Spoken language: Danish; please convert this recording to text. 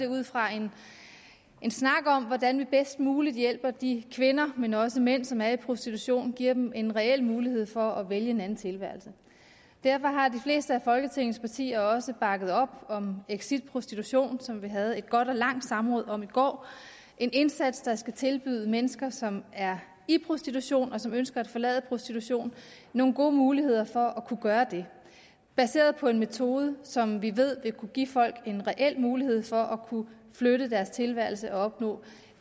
ud fra en snak om hvordan vi bedst muligt hjælper de kvinder men også mænd som er i prostitution og giver dem en reel mulighed for at vælge en anden tilværelse derfor har de fleste af folketingets partier også bakket op om exit prostitution som vi havde et godt og langt samråd om i går en indsats der skal tilbyde mennesker som er i prostitution og som ønsker at forlade prostitution nogle gode muligheder for at kunne gøre det baseret på en metode som vi ved vil kunne give folk en reel mulighed for at kunne flytte deres tilværelse og opnå